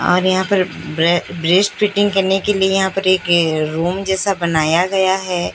और यहां पर ब्रे ब्रेस्ट फिटिंग करने के लिए यहां पर रूम जैसा बनाया गया है।